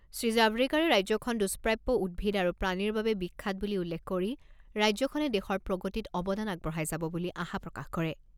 শ্ৰীজাভ্ৰেকাৰে ৰাজ্যখন দুষ্প্ৰাপ্য উদ্ভিদ আৰু প্ৰাণীৰ বাবে বিখ্যাত বুলি উল্লেখ কৰি ৰাজ্যখনে দেশৰ প্ৰগতিত অৱদান আগবঢ়াই যাব বুলি আশা প্ৰকাশ কৰে।